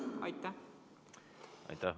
Aitäh!